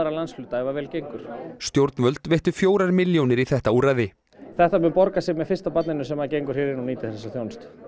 landshluta ef vel gengur stjórnvöld veittu fjórar milljónir í þetta úrræði þetta mun borga sig með fyrsta barninu sem gengur hér inn og nýtir þessa þjónustu